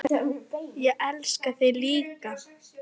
Ég elska þig líka.